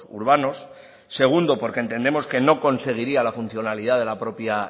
urbanos segundo porque entendemos que no conseguiría la funcionalidad de la propia